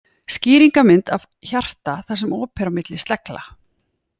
Skýringarmynd af af hjarta þar sem op er á milli slegla.